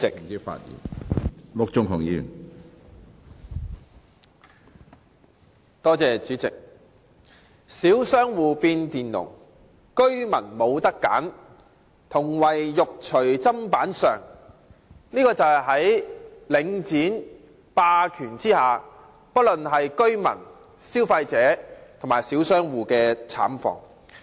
這便是在領展房地產投資信託基金的霸權下，不論是居民、消費者或小商戶的慘況。